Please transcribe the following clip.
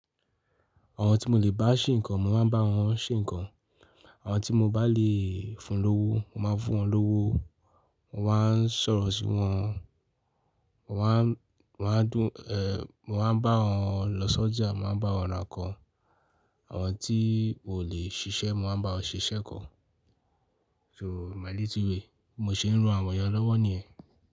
Àwọn tí mo lè bá ṣe nkan mo máa ń bá wọn ṣe ǹkan, àwọn tí mo bá lè fún lówó, mo máa ń fún wọn lówó, mo máa ń sọ̀rọ̀ sí wọn, mo máa ń, mo máa ń dú e eeh mo máa ń bá wọn lọ sọ́jà, mo máa bá wọn rà nkan, àwọn tí ò lè ṣiṣẹ́ mo máa bá wọn ṣiṣẹ́ kan. So my little way bí mo ń ṣe rán àwọn ìyẹn lọ́wọ́ nìyẹn.